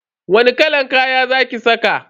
Wani kalan kaya za ki saka?